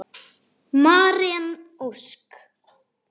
Maren Ósk.